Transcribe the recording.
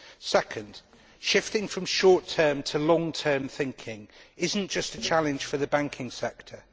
Second, shifting from short term to long term thinking is not just a challenge for the banking sector.